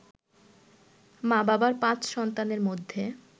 মা-বাবার ৫ সন্তানের মধ্যে